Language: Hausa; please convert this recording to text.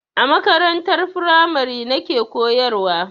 A makarantar firamare nake koyarwa.